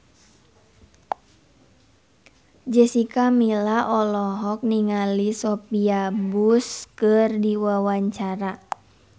Jessica Milla olohok ningali Sophia Bush keur diwawancara